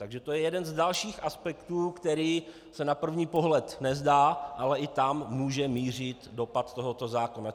Takže to je jeden z dalších aspektů, který se na první pohled nezdá, ale i tam může mířit dopad tohoto zákona.